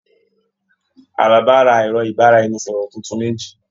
Àlàbá rà ẹrọ ibaraẹnisọrọ títún méjì.